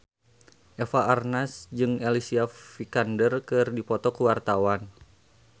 Eva Arnaz jeung Alicia Vikander keur dipoto ku wartawan